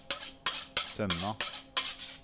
Sømna